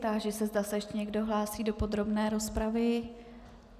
Táži se, zda se ještě někdo hlásí do podrobné rozpravy.